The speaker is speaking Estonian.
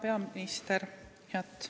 Hea peaminister!